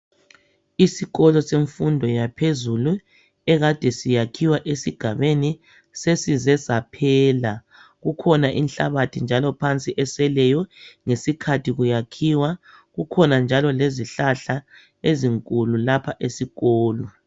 Isikolo semfundo yaphezulu, ekade sisakhiwa esigabeni. Sesize saphela. Kukhona inhlabathi njalo phansi eseleyo, ngesikhathi kuyakhiwa. Kukhona njalo lezihlahla, ezinkulu. Lapha esikolo.